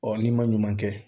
Ɔ n'i ma ɲuman kɛ